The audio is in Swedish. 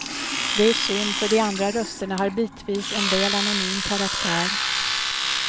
Det är synd, för de andra rösterna har bitvis en väl anonym karaktär.